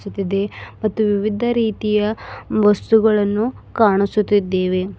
ಚ್ಚುತಿದೆ ಮತ್ತು ವಿವಿಧ ರೀತಿಯ ವಸ್ತುಗಳನ್ನು ಕಾಣಸುತಿದ್ದೆವೆ.